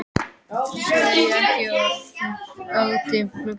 Svenni segir ekki orð og horfir áfram út um gluggann.